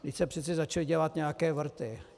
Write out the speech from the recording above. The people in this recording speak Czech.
Vždyť se přece začaly dělat nějaké vrty.